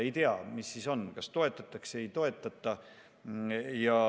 Ei tea, mis siis on: kas toetatakse või ei toetata.